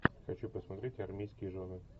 хочу посмотреть армейские жены